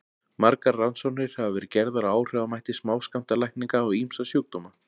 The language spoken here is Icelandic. margar rannsóknir hafa verið gerðar á áhrifamætti smáskammtalækninga á ýmsa sjúkdóma